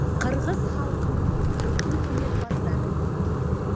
қырғыз халқының бүкіл өнерпаздары біледі